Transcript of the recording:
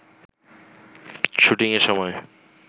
শুটিংয়ের সময়